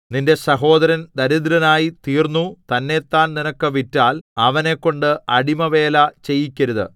നിന്റെ സഹോദരൻ ദരിദ്രനായിത്തീതീർന്നു തന്നെത്താൻ നിനക്ക് വിറ്റാൽ അവനെക്കൊണ്ട് അടിമവേല ചെയ്യിക്കരുത്